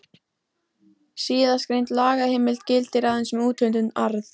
Síðastgreind lagaheimild gildir aðeins um úthlutun arðs.